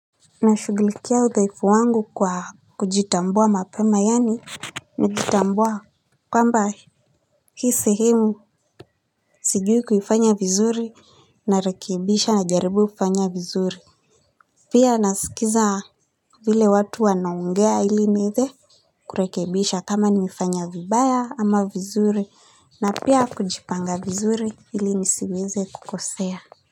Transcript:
Nashughulikia udhaifu wangu kwa kujitambua mapema yaani najitambua kwamba hii sehemu sijui kuifanya vizuri, narekebisha, najaribu kufanya vizuri pia nasikiza vile watu wanaongea ili nieze kurekebisha kama nimefanya vibaya ama vizuri na pia kujipanga vizuri ili nisiweze kukosea.